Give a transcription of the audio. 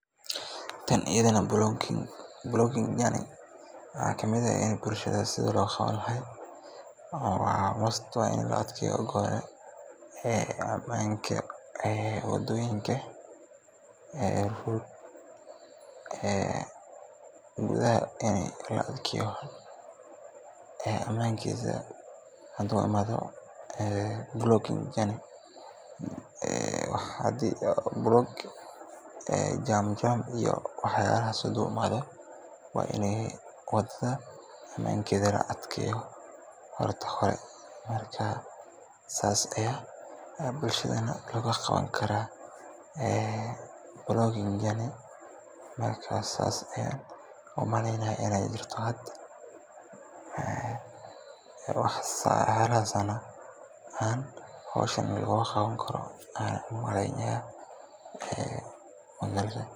Tan ayadana booking journey waxaa ka mid ah sidii bulshada loo qaban lahaa, waxaana muhiim ah in marka hore la adkeeyo amniga waddooyinka. Tani waxay suurta gelinaysaa in safarka uu noqdo mid nabad ah, qofkuna uu si kalsooni leh ugu safro meel kasta oo uu rabo. Waxaa sidoo kale muhiim ah in la helo nidaam hufan oo lagu diiwaangeliyo dadka safarka bixinaya iyo kuwa raacaya, si loo hubiyo badqabka iyo la socodka dhaqdhaqaaqa. Amniga waddooyinka, ilaalinta xeerarka gaadiidka, iyo hubinta in darawaliintu yihiin kuwa aqoon u leh shaqadooda, dhammaantood waa waxyaabaha aas-aaska u ah safar nabad ah oo lagu kalsoonaan karo.